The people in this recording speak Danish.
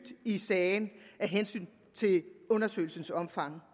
i sagen af hensyn til undersøgelsens omfang